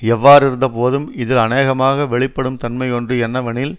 எவ்வாறிருந்தபோதும் இதில் அநேகமாக வெளிப்படும் தன்மை ஒன்று என்னவெனில்